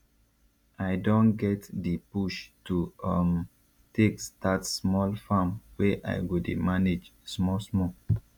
i don get di push to um take start small farm wey i go dey manage small small